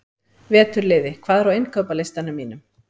Veturliði, hvað er á innkaupalistanum mínum?